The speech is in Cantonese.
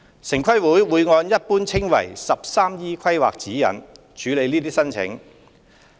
城規會會按一般稱為 "13E 規劃指引"處理這些申請。